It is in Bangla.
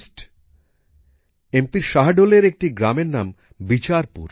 মধ্যপ্রদেশের শাহডোলের একটি গ্রামের নাম বিচারপুর